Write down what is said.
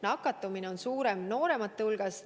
Nakatumine on suurem nooremate hulgas.